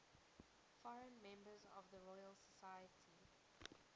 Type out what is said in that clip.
foreign members of the royal society